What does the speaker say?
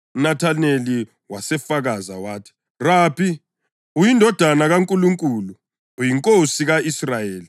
UNathaneli wasefakaza wathi, “Rabi, uyindodana kaNkulunkulu; uyiNkosi ka-Israyeli.”